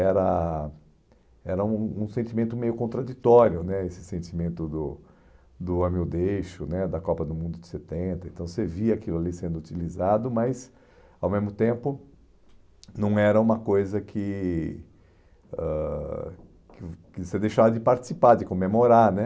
era era um um sentimento meio contraditório né, esse sentimento do do ame ou deixe- o né, da Copa do Mundo de setenta, então você via aquilo ali sendo utilizado, mas, ao mesmo tempo, não era uma coisa que ãh que que você deixava de participar, de comemorar né